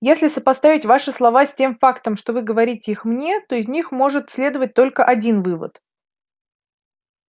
если сопоставить ваши слова с тем фактом что вы говорите их мне то из них может следовать только один вывод